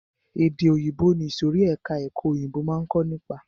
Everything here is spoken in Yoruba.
Èdè òyìnbó ni ìsòrí ẹka ẹ̀kọ́ òyìnbó máa ń kó nípa.